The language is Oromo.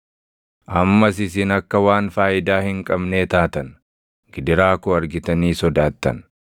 Ammas isin akka waan faayidaa hin qabnee taatan; gidiraa koo argitanii sodaattan.